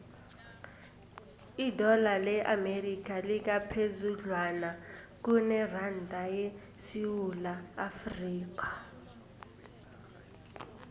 idola le amerika lingaphezudlwana kuneranda yesewula afrika